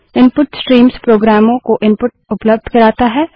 input streams प्रोग्रामों को input उपलब्ध करता है